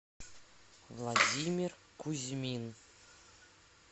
владимир кузьмин